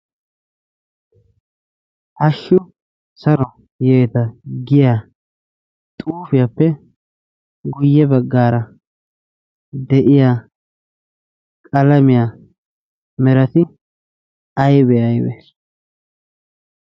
hashshu saro yeeta giya xuufiyaappe guyye baggaara de'iya qalamiyaa merati aybee aybbe